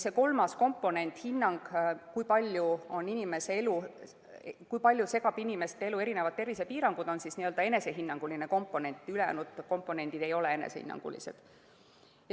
Kolmas komponent, hinnang, kui palju segavad inimeste elu erinevad tervisepiirangud, on enesehinnanguline, ülejäänud komponendid ei ole enesehinnangulised.